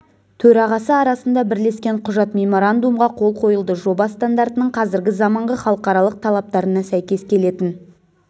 төрағасы арасында бірлескен құжат меморандумға қол қойылды жоба стандартының қазіргі заманғы халықаралық талаптарына сәйкес келетін